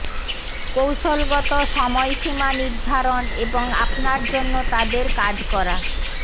কৌশলগত সময়সীমা নির্ধারণ এবং আপনার জন্য তাদের কাজ করা